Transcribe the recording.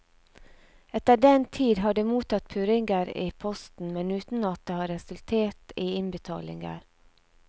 Etter den tid har de mottatt purringer i posten, men uten at det har resultert i innbetalinger.